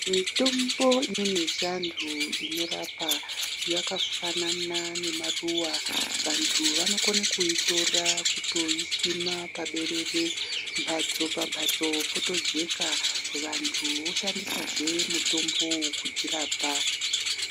Mitombo imweni yechivantu inorapa yakafanana nemaruva vantu vanokona kuitora kutoyisima paberere mhatso pambhatso potojeka vandu voshandisazve mutombo uwu kudzirapa.